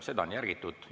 Seda on järgitud.